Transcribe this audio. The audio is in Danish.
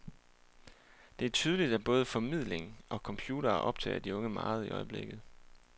Det er tydeligt, at både formidling og computere optager de unge meget i øjeblikket.